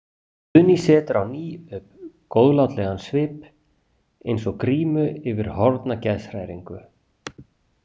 Guðný setur á ný upp góðlátlegan svip eins og grímu yfir horfna geðshræringu.